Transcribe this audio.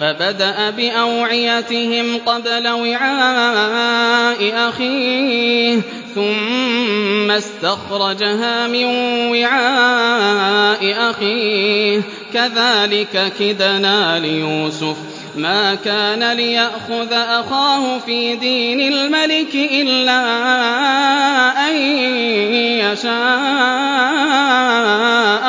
فَبَدَأَ بِأَوْعِيَتِهِمْ قَبْلَ وِعَاءِ أَخِيهِ ثُمَّ اسْتَخْرَجَهَا مِن وِعَاءِ أَخِيهِ ۚ كَذَٰلِكَ كِدْنَا لِيُوسُفَ ۖ مَا كَانَ لِيَأْخُذَ أَخَاهُ فِي دِينِ الْمَلِكِ إِلَّا أَن يَشَاءَ